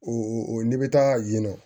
O n'i bɛ taa yen nɔ